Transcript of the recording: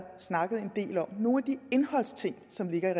snakket en del om nogle af de indholdsting som ligger i